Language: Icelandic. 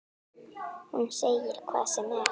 Hún segir hvað sem er.